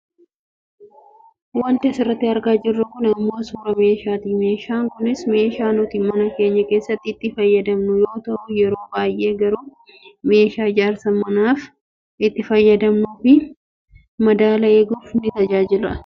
Wanti asirratti argaa jirruu kun ammoo suuraa meeshaati. Meeshaan kunis meeshaa nuti mana keenya keessatti itti fayyadamnu yoo ta'u yeroo baayyee garuu meeshaa ijaarsa manaaf itti fayyadamnu fi madaala eeguuf nu tajaajiludha.